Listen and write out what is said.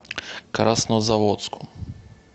краснозаводску